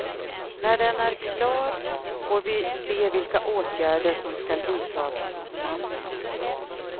När den är klar får vi se vilka åtgärder som ska vidtas mot mannen.